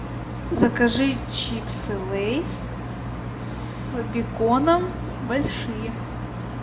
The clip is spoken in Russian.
закажи чипсы лейс с беконом большие